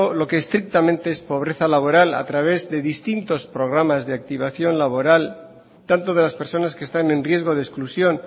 lo que estrictamente es pobreza laboral a través de distintos programas de activación laboral tanto de las personas que están en riesgo de exclusión